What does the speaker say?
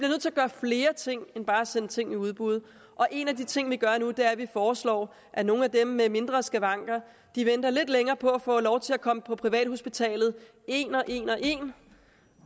gøre flere ting end bare at sende ting i udbud og en af de ting vi gør nu er at vi foreslår at nogle af dem med mindre skavanker venter lidt længere på at få lov til at komme på privathospitalet en og en og en